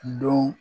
Don